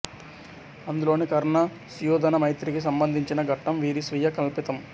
అందులోని కర్ణ సుయోధన మైత్రికి సంబంధించిన ఘట్టం వీరి స్వీయ కల్పితం